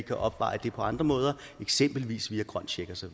kan opveje det på andre måder eksempelvis via grøn check og så